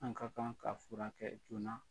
An ka kan k'a fura kɛ joona.